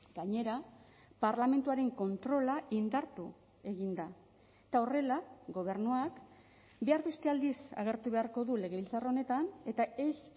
gainera parlamentuaren kontrola indartu egin da eta horrela gobernuak behar beste aldiz agertu beharko du legebiltzar honetan eta ez